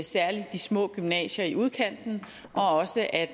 særlig de små gymnasier i udkanten og også at